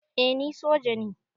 Eh ni soja ne